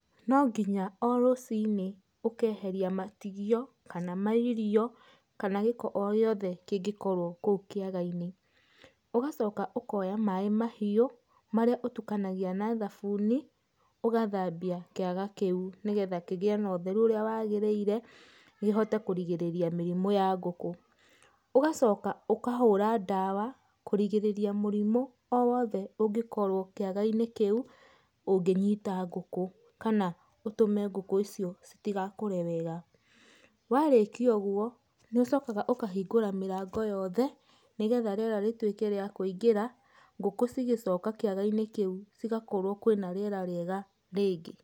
Nonginya o rũcinĩ ũkeheria matigio kana mairio kana gĩko o gĩothe kĩngĩkorwo kũu kĩaga-inĩ. Ũgacoka ũkoya maaĩ mahiũ marĩa ũtukanagia na thabuni ũgathambia kĩaga kĩu nĩgetha kĩgĩe na ũtheru ũrĩa wagĩrĩire kĩhote kũrigĩrĩrĩa mĩrimũ ya ngũkũ. Ũgacoka ũkahũra ndawa kũrigĩrĩrĩa mũrimũ o wothe ũngĩkorwo kĩaga-inĩ kĩu ũngĩnyita ngũkũ kana ũtũme ngũkũ icio citigakũre wega. Warĩkia ũgwo nĩ ũcokaga ũkahingũra mĩrango yothe nĩgetha rĩera rĩtuĩke rĩa kũingĩra, ngũkũ cigĩcoka kĩaga-inĩ kĩu cigakorwo kwĩna rĩera rĩega rĩngĩ.